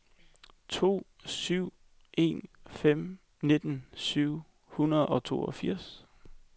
to syv en fem nitten syv hundrede og toogfirs